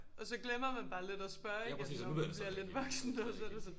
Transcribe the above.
Og så glemmer man bare lidt at spørge igen når man bliver lidt voksen og så det sådan